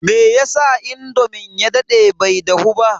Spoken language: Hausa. meyasa indomin ya dade bai dahu ba?